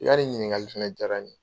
I ka nin ɲininkali fɛnɛ jara n ye.